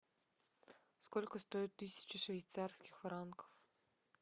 сколько стоит тысяча швейцарских франков